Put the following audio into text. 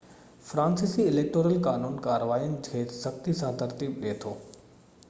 فرانسيسي اليڪٽورل قانون ڪارواين کي سختي سان ترتيب ڏئي ٿو